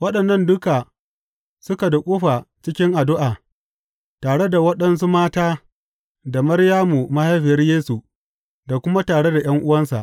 Waɗannan duka suka duƙufa cikin addu’a, tare da waɗansu mata da Maryamu mahaifiyar Yesu, da kuma tare da ’yan’uwansa.